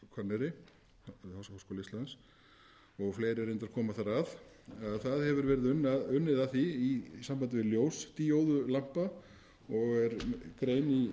háskóla íslands og reyndar koma fleiri þar að það hefur verið unnið að því í sambandi við ljósdíóðulampa og er grein í